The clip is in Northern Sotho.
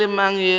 mang le mang yo e